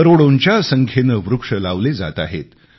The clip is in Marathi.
करोडोंच्या संख्येने वृक्ष लावले जात आहेत